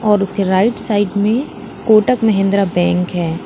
और उसके right side में कोटक महिंद्रा बैंक है।